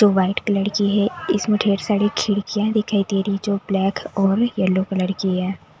जो white colour की है इसमें ढेर सारी खिड़कियां दिखाई दे रही जो ब्लैक और येलो कलर की है।